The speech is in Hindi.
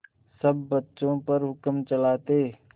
सब बच्चों पर हुक्म चलाते